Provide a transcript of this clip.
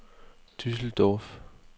Düsseldorf